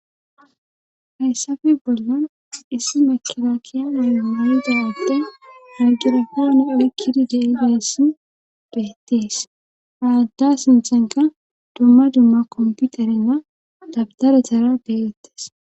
Hayssafe bolla issi makida kiyana mada adde magirofoone oykkidi deideessi beettis haadda sinthenka dumma dumma komputarenna dabdarethara deegettes.